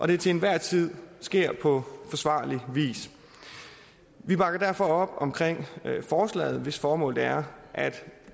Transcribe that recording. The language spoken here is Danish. det til enhver tid sker på forsvarlig vis vi bakker derfor op om forslaget hvis formål er at